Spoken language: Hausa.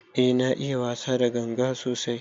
Eh na iya wasa da ganga sosai.